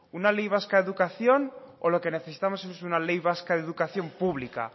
una ley vasca de educación o lo que necesitamos es una ley vasca de educación pública